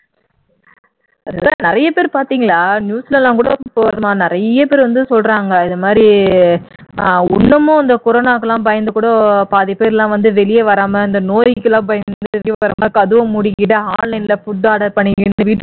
அதான் நிறைய பேர் பார்த்தீங்களா நியூஸ்ல எல்லாம் கூட நிறைய பேர் வந்து சொல்றாங்க இதுமாதிரி இன்னமும் இந்த கொரோனாக்கெல்லாம் பயந்து கூட பாதி பேர் எல்லாம் வந்து வெளியேவே வராமல்நோய்க்கெல்லாம் பயந்துட்டு வெளியே வராமராமல் கதவ மூடிக்கிட்டு online ல food order பண்ணிக்கிட்டு